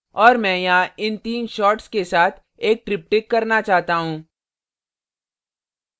और मैं यहाँ इन तीन shots के साथ एक triptych करना चाहता हूँ